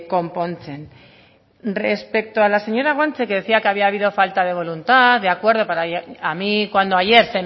konpontzen respecto a la señora guanche que decía que había habido falta de voluntad de acuerdo a mí cuando ayer